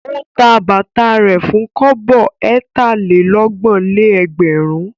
Ó ta bàtà rẹ̀ fún kọ́bọ̀ ẹ̀tà-lé-ọgbọ̀n-lé-ẹgbẹ̀rún.